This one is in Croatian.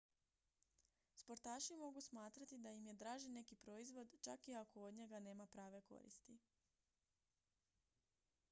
sportaši mogu smatrati da im je draži neki proizvod čak i ako od njega nema prave koristi